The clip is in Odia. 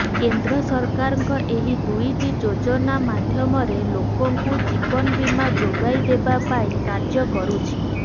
କେନ୍ଦ୍ର ସରକାରଙ୍କ ଏହି ଦୁଇଟି ଯୋଜାନା ମାଧ୍ୟମରେ ଲୋକଙ୍କୁ ଜୀବନ ବୀମା ଯୋଗାଇ ଦେବା ପାଇଁ କାର୍ଯ୍ୟ କରୁଛି